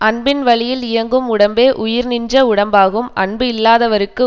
அன்பின் வழியில் இயங்கும் உடம்பே உயிர்நின்ற உடம்பாகும் அன்பு இல்லாதவர்க்கு